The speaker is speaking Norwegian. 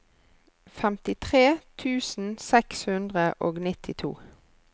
femtitre tusen seks hundre og nittito